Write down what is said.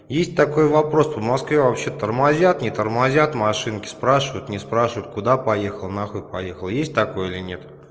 есть такой вопрос по москве вообще тормозят не тормозят машинки спрашивают не спрашивают куда поехал на хуй поехал есть такое или нет